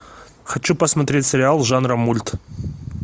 хочу посмотреть сериал жанра мульт